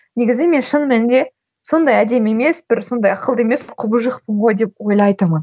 негізі мен шын мәнінде сондай әдемі емес бір сондай ақылды емес құбыжықпын ғой деп ойлайтынмын